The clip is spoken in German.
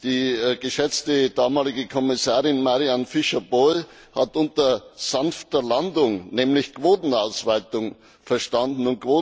Die geschätzte damalige Kommissarin Mariann Fischer Boel hat unter sanfter Landung nämlich Quotenausweitung verstanden.